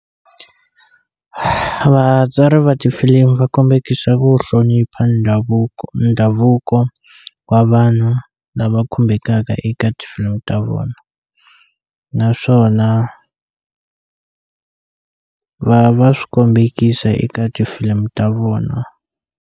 Vatsari va tifilimi va kombekisa ku hlonipha ndhavuko ndhavuko wa vanhu lava khumbekaka eka tifilimu ta vona naswona va va swi kombekisa eka tifilimu ta vona.